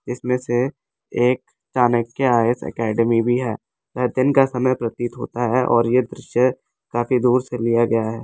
इसमें से एक चाणक्य आयस अकेडमी भी है वह दिन का समय प्रतीत होता है और यह दृश्य काफी दूर से लिया गया है।